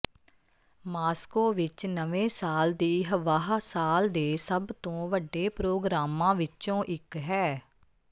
Moscow ਵਿਚ ਨਵੇਂ ਸਾਲ ਦੀ ਹੱਵਾਹ ਸਾਲ ਦੇ ਸਭ ਤੋਂ ਵੱਡੇ ਪ੍ਰੋਗਰਾਮਾਂ ਵਿੱਚੋਂ ਇੱਕ ਹੈ